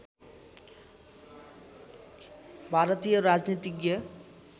भारतीय राजनीतिज्ञ